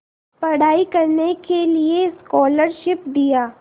पढ़ाई करने के लिए स्कॉलरशिप दिया